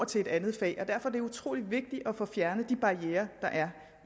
til et andet fag derfor er det utrolig vigtigt at få fjernet de barrierer der er